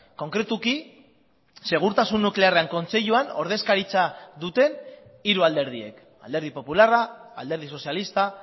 konkretuki segurtasun nuklearren kontseiluan ordezkaritza duten hiru alderdiek alderdi popularra alderdi sozialista